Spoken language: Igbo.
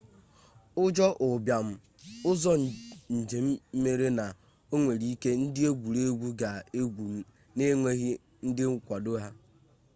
ụjọ ụbịam ụzọ njem mere na onwere ike ndị egwuregwu ga egwu n'enweghị ndị nkwado ha